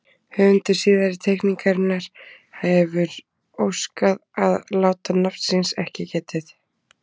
Höfundur síðari teikningarinnar hefir óskað að láta nafns síns ekki getið.